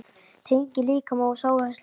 Tenging líkama og sálar slitin.